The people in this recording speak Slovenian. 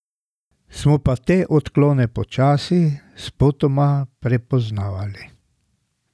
Smo pa te odklone počasi, spotoma prepoznavali.